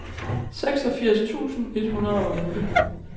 seksogfirs tusind et hundrede og otte